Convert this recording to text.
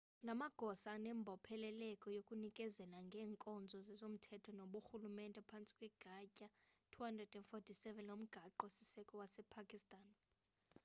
la magosa anembopheleleko yokunikezela ngeenkonzo zezomthetho nezoburhulumente phantsi kwegatya 247 lomgaqo siseko wasepakistan